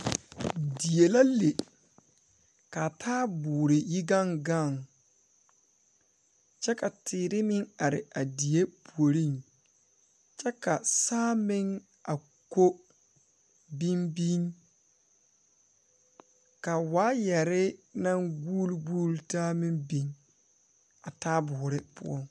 Die la le kaa taaboore yi gaŋ gaŋ kyɛ ka teere meŋ are a die puoriŋ kyɛ ka saa meŋ a ko biŋbiŋ ka waayarre naŋ guuleguule taa meŋ biŋ a taaboore poɔŋ.